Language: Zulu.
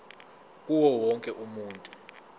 kuwo wonke umuntu